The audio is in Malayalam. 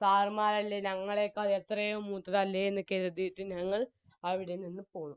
sir മ്മാരല്ലേ ഞങ്ങളെക്കാൾ എത്രയോ മൂത്തതല്ലേ എന്ന് കെരുത്തിട്ട് ഞങ്ങൾ അവിടെ നിന്ന് പോയി